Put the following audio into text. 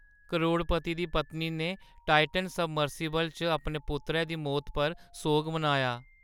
करोड़पती दी पत्नी ने टाइटन सबमर्सिबल च अपने पुत्तरै दी मौती पर सोग मनाया।